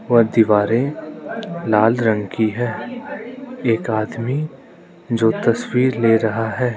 और दीवारें लाल रंग की है एक आदमी जो तस्वीर ले रहा है।